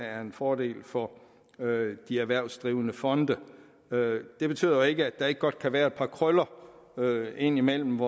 er en fordel for de erhvervsdrivende fonde det betyder jo ikke at der ikke godt kan være et par krøller indimellem